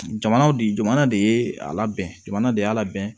Jamana de jamana de ye a labɛn jamana de y'a labɛn